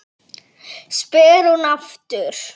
spyr hún aftur.